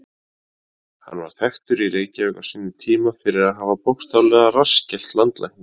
Hann var þekktur í Reykjavík á sínum tíma fyrir að hafa bókstaflega rassskellt landlækni.